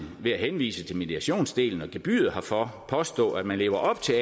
ved at henvise til mediationsdelen og gebyret herfor påstå at man lever op til